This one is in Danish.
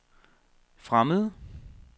fremmede